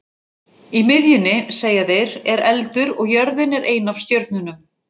Í miðjunni, segja þeir, er eldur og jörðin er ein af stjörnunum.